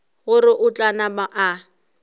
gore o tla napa a